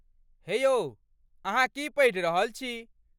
हे यौ, अहाँ की पढ़ि रहल छी?